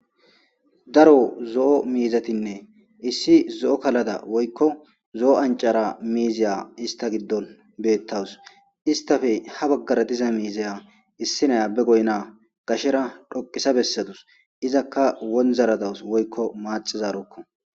Daro zo'o miizatinne issi zo'o kalada woyikko zo'oo anchchara miziya issta giddon bettawus isstappe ha baggara diza miiziya issinya be goyinna gashera dhoqisa bessadus izaka wonzzara dawus woyikko maxxizarokko.